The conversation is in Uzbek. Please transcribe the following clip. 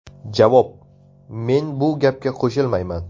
Javob: Men bu gapga qo‘shilmayman.